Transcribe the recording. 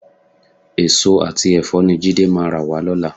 Èso àti ẹ̀fọ́ ni Jídé máa rà wá lọ́la.